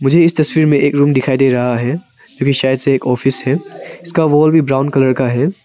मुझे इस तस्वीर में एक रूम दिखाई दे रहा है जो कि शायद से एक ऑफिस है उसका वाल भी ब्राउन कलर का है।